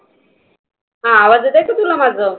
हं आवाज येतोक का माझं